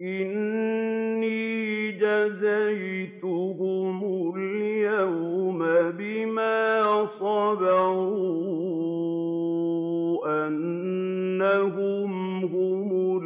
إِنِّي جَزَيْتُهُمُ الْيَوْمَ بِمَا صَبَرُوا أَنَّهُمْ هُمُ